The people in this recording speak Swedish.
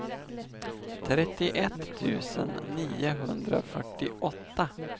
trettioett tusen niohundrafyrtioåtta